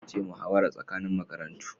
Yau ce muhawara tsakanin makarantu